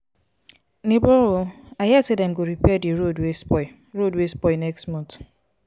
nebor o i hear sey dem go repair di road wey spoil road wey spoil next month.